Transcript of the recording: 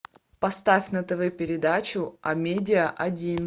поставь на тв передачу амедиа один